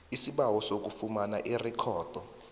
isibawo sokufumana irikhodi